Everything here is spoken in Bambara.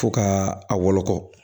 Fo ka a wolokɔ